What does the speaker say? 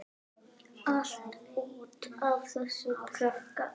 Allt út af þessum krakka.